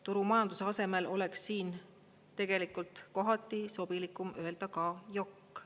Turumajanduse asemel oleks siin tegelikult kohati sobilikum öelda ka jokk.